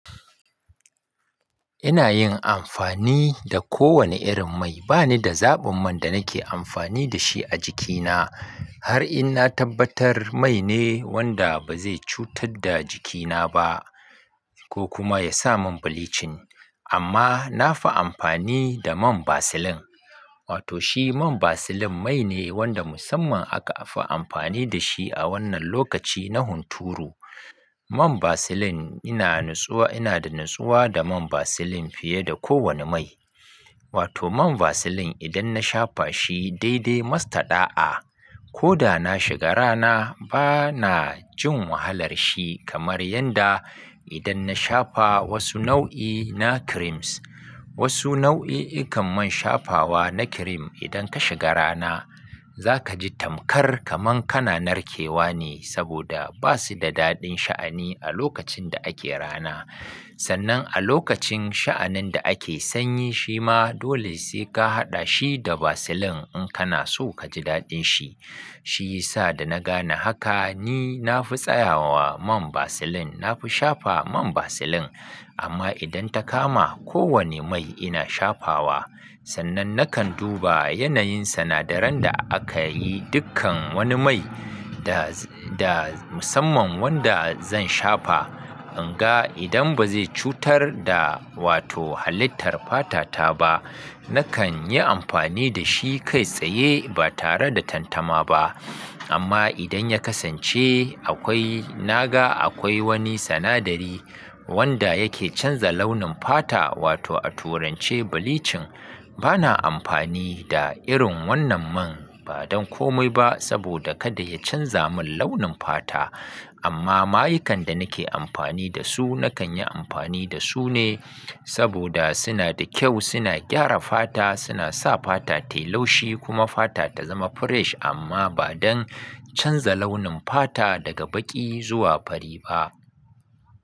Ina yin amfani da kowane irin mai. Ba ni da zaɓin man da nake amfani da shi a jikina har in na tabbatar mai ne wanda ba zai cutar da jikina ba ko kuma ya sa mun bleaching. Amma na fi amfani da man Vaseline. Wato shi man Vaseline mai ne wanda musamman aka fi amfani da shi a wannan lokaci na hunturu. Man Vaseline ina natsuwa, ina da natsuwa da man Vaseline fiye da kowane mai. Wato man Vaseline idan na shafa shi daidai mastada'a. Ko da na shiga rana bana jin wahalar shi kamar yadda idan na shafa wasu nau'i na creams. Wasu nau'i ikan man shafawa na cream idan ka shiga rana za ka ji tamkar kamar kana narkewa ne saboda basu da daɗin sha'ani a lokacin da ake rana. Sannan a lokacin sha'anin da ake sanyi shi ma dole sai ka haɗa shi da Vaseline in kana so ka ji daɗin shi. Shi ya sa da na gane haka ni na fi tsayawa wa man Vaseline. Na fi shafa man Vaseline amma idan ta kama kowane mai ina shafawa sannan nakan duba yanayin sinadaran da aka yi dukkan wani mai da, da musamman wanda zan shafa. In ga idan bazai cutar da wato halittar fata ta ba nakan yi amfani da shi kai tsaye ba tare da tantama ba. Amma idan ya kasance akwai, na ga akwai wani sinadari wanda yake canza launin fata wato a turance bleaching bana amfani da irin wannan man ba don komai ba saboda kada ya canza mun launin fata. Amma mayukan da nake amfani da su nakan yi amfani da su ne saboda suna da kyau, suna gyara fata, suna sa fata tayi laushi kuma fata ta zama fresh amma ba don canza launin fata daga baƙi zuwa fari ba.